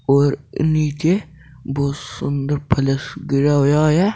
और नीचे बहुत सुन्दर फर्श किया हुआ है।